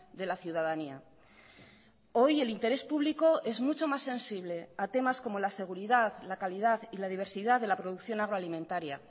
de la ciudadanía hoy el interés público es mucho más sensible a temas como la seguridad la calidad y la diversidad de la producción agro alimentaria